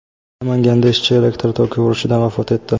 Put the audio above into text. Namanganda ishchi elektr toki urishidan vafot etdi.